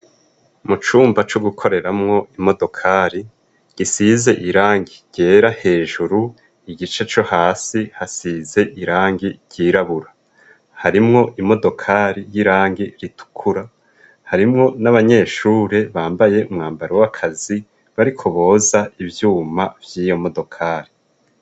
Mu cumba co gukoreramwo imodokari gisize irangi ryera hejuru igice co hasi hasize irangi ryirabura harimwo imodokari y'irangi ritukura harimwo n'abanyeshure bambaye umwambaro w'akazi bari ko boza ivyuma vyiyo modokali.